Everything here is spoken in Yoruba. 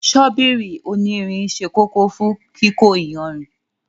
Ṣọ́bíìrì onírìn sẹ́ kòkò fún kíkó ìyànrin.